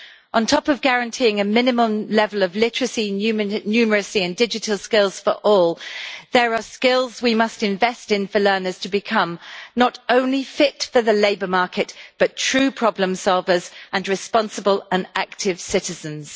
On top of guaranteeing a minimum level of literacy, numeracy and digital skills for all, there are skills we must invest in for learners to become not only fit for the labour market, but true problem-solvers and responsible and active citizens.